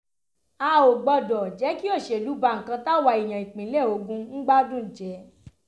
a ò gbọ́dọ̀ jẹ́ kí òṣèlú ba nǹkan táwa èèyàn ìpínlẹ̀ ogun ń gbádùn jẹ́